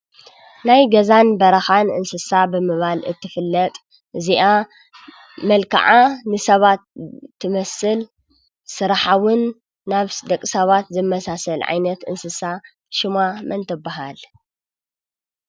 ናይ ገዛን በረካን እንስሳ ብምባል እትፍለጥ እዚአ መልክዓ ንሰባት ትመስል ስርሓ እውን ናብ ደቂ ሰባት ዝመሳሰል ዓይነት እንስሳ ሽማ መን ትበሃል?